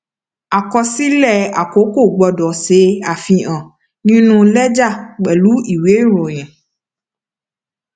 àkọsílẹ àkọkọ gbọdọ ṣe àfihàn nínú lẹjà pẹlú ìwé ìròyìn